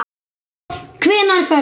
Hvenær ferðu?